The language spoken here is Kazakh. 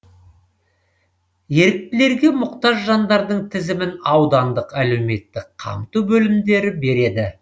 еріктілерге мұқтаж жандардың тізімін аудандық әлеуметтік қамту бөлімдері береді